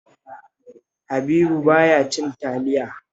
Habibu ba ya cin taliya